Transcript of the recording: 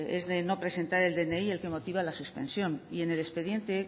es no presentar el dni el que motiva la suspensión y en el expediente